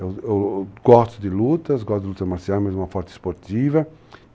Eu eu gosto de lutas, gosto de luta marcial, mas uma forte esportiva.